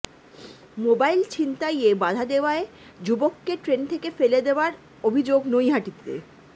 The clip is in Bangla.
মোবাইল ছিনতাইয়ে বাধা দেওয়ায় যুবককে ট্রেন থেকে ফেলে দেওয়ার অভিযোগ নৈহাটিতে